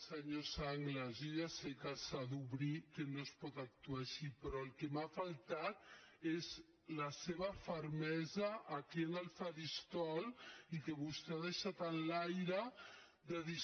senyor sanglas jo ja sé que s’ha d’obrir que no es pot actuar així però el que m’ha faltat és la seva fermesa aquí en el faristol i que vostè ha deixat en l’aire de dir